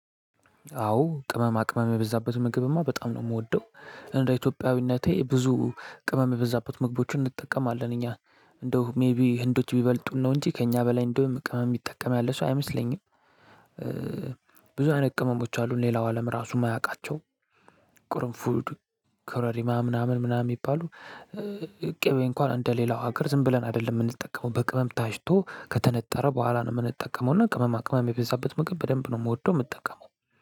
አዎ ቅመማ ቅመም የበዛበት ምግብማ በጣም ነው የምወደው እንደ ኢትዮጵያዊነቴ ብዙ ቅመም የበዛበት ምግቦችን እንጠቀማለን እኛ እንደው ሜይቢ ህንዶች ቢበልጡን ነው እንጂ ከእኛ በላይ እንደውም ቅመም የሚጠቀም ያለ ሰው አይመስለኝም። ብዙ አይነት ቅመሞች አሉን ሌላው አለም ራሱም እማያቃቸውም ቁርፉድ ኮረሪማ ምናምን ምናምን የሚባሉ። ቂቤ እንኳን እንደ ሌላው ሀገር ዝም ብለን አይደለም የምንጠቀመው በቅመም ታጭቶ ከተነጠረ በኋላ ነው የምንጠቀመው። እና ቅመማ ቅመም የበዛበት ምግብ በደንብ ነው የምወደው የምንጠቀመው።